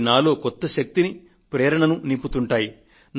అవి నాలో కొత్త శక్తిని ప్రేరణను నింపుతుంటాయి